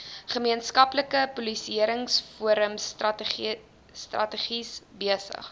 gemeenskapspolisieringsforums strategies besig